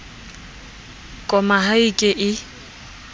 koma ha e ke e